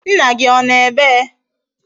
Nna gi Ono ebea?